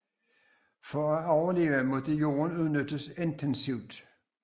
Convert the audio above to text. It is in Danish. For at overleve måtte jorden udnyttes intensivt